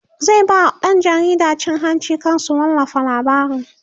zai ba ɗan jaridan cin hanci kar su wallafa labarin